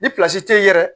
Ni te yen yɛrɛ